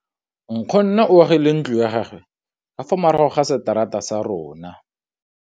Nkgonne o agile ntlo ya gagwe ka fa morago ga seterata sa rona.